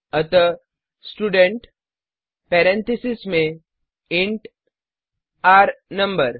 अतः student parenthesis में enter number